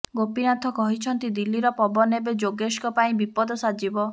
ଗୋପୀନାଥ କହିଛନ୍ତି ଦିଲ୍ଲୀର ପବନ ଏବେ ଯୋଗେଶଙ୍କ ପାଇଁ ବିପଦ ସାଜିବ